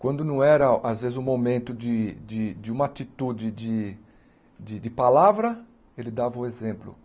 Quando não era, às vezes, o momento de de de uma atitude de de palavra, ele dava o exemplo.